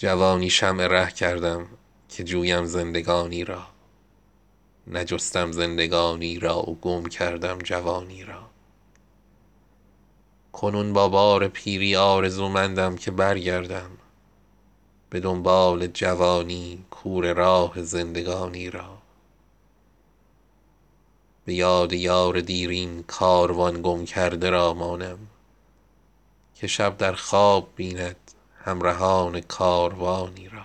جوانی شمع ره کردم که جویم زندگانی را نجستم زندگانی را و گم کردم جوانی را کنون با بار پیری آرزومندم که برگردم به دنبال جوانی کوره راه زندگانی را به یاد یار دیرین کاروان گم کرده را مانم که شب در خواب بیند همرهان کاروانی را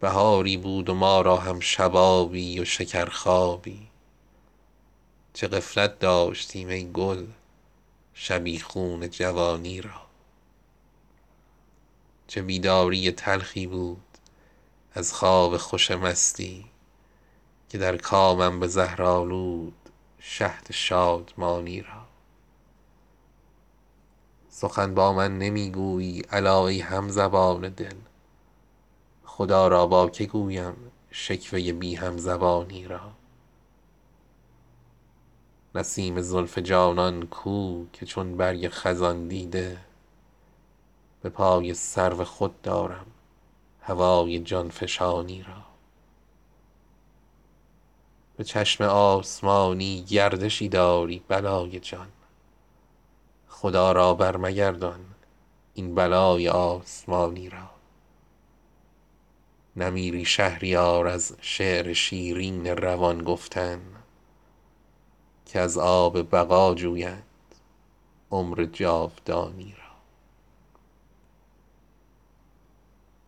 بهاری بود و ما را هم شبابی و شکر خوابی چه غفلت داشتیم ای گل شبیخون خزانی را چه بیداری تلخی بود از خواب خوش مستی که در کامم به زهر آلود شهد شادمانی را سخن با من نمی گویی الا ای همزبان دل خدایا با که گویم شکوه بی همزبانی را نسیم زلف جانان کو که چون برگ خزان دیده به پای سرو خود دارم هوای جانفشانی را به چشم آسمانی گردشی داری بلای جان خدا را بر مگردان این بلای آسمانی را نمیری شهریار از شعر شیرین روان گفتن که از آب بقا جویند عمر جاودانی را